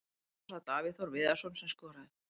Fyrst var það Davíð Þór Viðarsson sem skoraði.